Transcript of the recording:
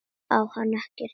Á hann ekkert í mér?